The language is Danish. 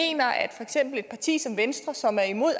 et parti som venstre som er imod